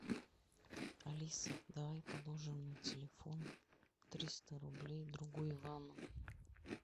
алиса давай положим на телефон триста рублей другу ивану